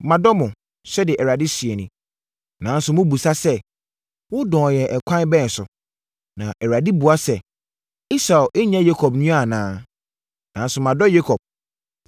“Madɔ mo,” sɛdeɛ Awurade seɛ nie. “Nanso, mobisa sɛ, ‘Wodɔɔ yɛn ɛkwan bɛn so?’ ” Na Awurade bua sɛ, “Esau nyɛ Yakob nua anaa? Nanso madɔ Yakob,